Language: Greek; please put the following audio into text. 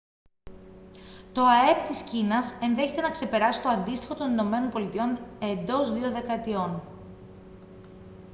το αεπ της κίνας ενδέχεται να ξεπεράσει το αντίστοιχο των ηνωμένων πολιτειών εντός δύο δεκαετιών